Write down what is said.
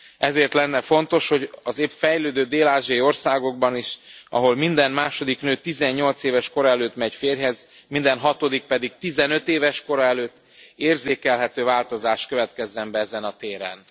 Ezért lenne fontos, hogy az épp fejlődő dél ázsiai országokban is, ahol minden második nő 18 éves kora előtt megy férjhez, minden hatodik pedig 15 éves kora előtt, érzékelhető változás következzen be ezen a téren.